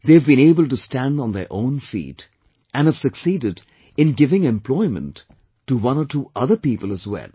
They have been able to stand on their own feet and have succeeded in giving employment to one or two other people as well